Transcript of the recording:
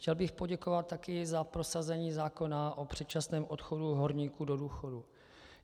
Chtěl bych poděkovat taky za prosazení zákona o předčasném odchodu horníků do důchodu.